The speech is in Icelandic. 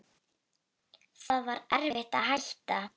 Það var erfitt að hætta.